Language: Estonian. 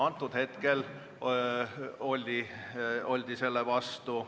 Praegu aga oldi selle vastu.